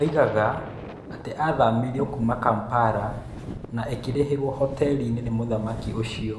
Oigaga atĩ athamirio kuuma Kampala na ĩkĩrĩhĩrwo hoteri nĩ mũthaki ucio.